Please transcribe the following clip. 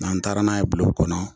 N'an taara n'a ye bulon kɔnɔ